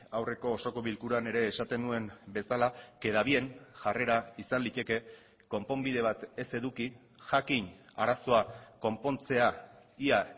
aurreko osoko bilkuran ere esaten nuen bezala queda bien jarrera izan liteke konponbide bat ez eduki jakin arazoa konpontzea ia